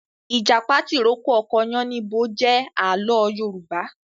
Ìjàpá tìrókó ọkọ yánníbo jẹ àlọ́ Yorùbá